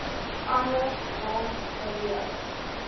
anders rond beweeg